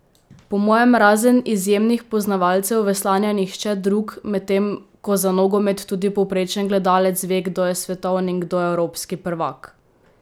Po mojem razen izjemnih poznavalcev veslanja nihče drug, medtem ko za nogomet tudi povprečen gledalec ve kdo je svetovni in kdo evropski prvak!